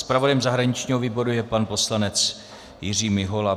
Zpravodajem zahraničního výboru je pan poslanec Jiří Mihola.